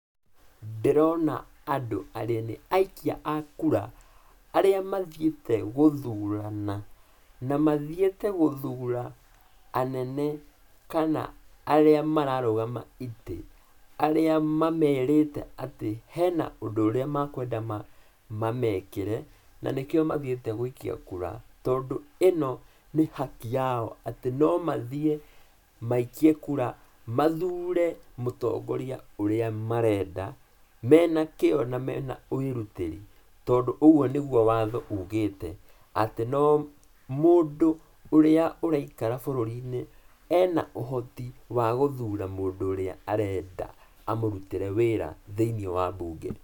Ndĩrona andũ arĩa nĩ aikia a kura, arĩa mathiĩte gũthurana na mathiĩte gũthura anene kana arĩa mararũgama itĩ, arĩa mamerĩte atĩ hena ũndũ ũrĩa makwenda mamekĩre, na nĩkĩo mathiĩte gũikia kura, tondũ ĩno nĩ haki yao, atĩ nomathiĩ maikie kura, mathiĩ mathure mũtongoria ũrĩa marenda, menakĩo na mena wĩrutĩri, tondũ ũguo nĩguo watho ũgĩte atĩ no mũndũ ũrĩa araikara bũrũri-inĩ ena ũhoti wa gũthura mũndũ ũrĩa arenda amũrutĩre wĩra thĩiniĩ wa mbunge.